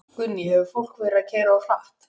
Guðný: Hefur fólk verið að keyra of hratt?